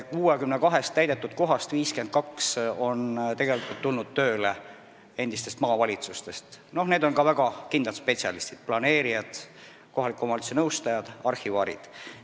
62-st täidetud kohast 52 puhul on tegu endiste maavalitsuste töötajatega, kes on väga kindlad spetsialistid: planeerijad, kohaliku omavalitsuse nõustajad, arhivaarid.